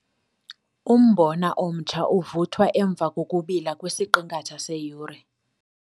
Umbona omtsha uvuthwa emva kokubila kwisiqingatha seyure.